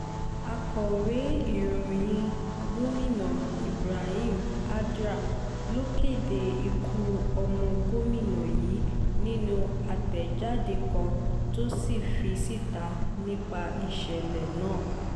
akọ̀wé ìròyìn gómìnà ibrahim addra ló kéde ikú ọmọ gómìnà yìí nínú àtẹ̀jáde kan tó fi síta nípa ìṣẹ̀lẹ̀ náà